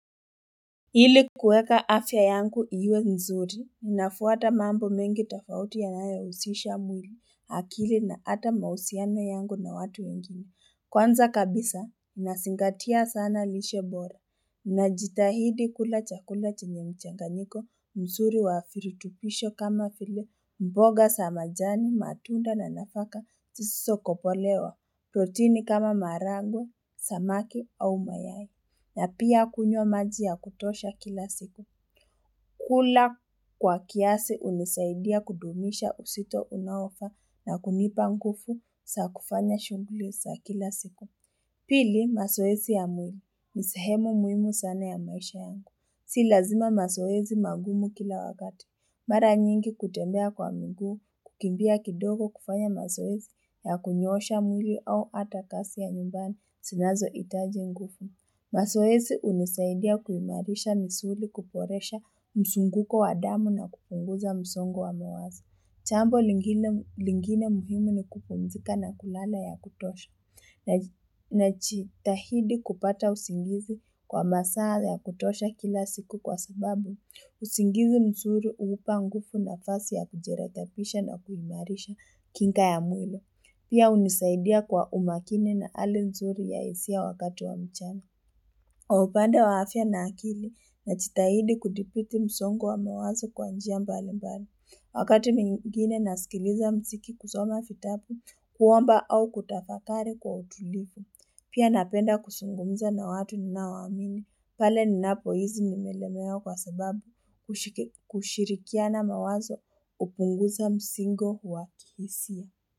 Hili kuweka afya yangu iwe mzuri ninafuata mambo mengi tofauti yanayousisha mwiri hakili na ata mausiano yangu na watu wengine kwanza kabisa nasingatia sana lishe bora najitahidi kula chakula chenye mchanganyiko mzuri wa firitupisho kama file mboga sa majani matunda na nafaka tiso kopolewa protini kama maragwe, samaki au mayai. Na pia kunywa maji ya kutosha kila siku. Kula kwa kiasi unisaidia kudumisha usito unaofaa na kunipa ngufu saa kufanya shungulu saa kila siku. Pili, masoesi ya mwili. Ni sehemu muimu sana ya maisha yangu. Si lazima masoesi magumu kila wakati. Mara nyingi kutembea kwa miguu kukimbia kidogo kufanya mazoezi ya kunyosha mwili au ata kasi ya nyumbani sinazoitaji nguku. Mazoezi unisaidia kuimarisha misuli kuporesha msunguko wa damu na kupunguza msongo wa mawazo. Chambo lingine muhimu ni kupumzika na kulala ya kutosha, nachitahidi kupata usingizi kwa masaa ya kutosha kila siku kwa sababu, usingizi mzuri uupa ngufu nafasi ya kujirekepisha na kuimarisha kinga ya mwile. Pia unisaidia kwa umakini na ali mzuri ya isia wakati wa mchama. Kwa upande wa afia na akili nachitahidi kudipiti msongo wa mawazo kwa njia mbali mbali. Wakati mingine nasikiliza mziki kusoma fitabu, kuwomba au kutafakari kwa utulipu. Pia napenda kusungumza na watu ninaowamini. Pale ninapohizi nimelemewa kwa sababu kushirikiana mawazo upunguza msingo huwa kihisia.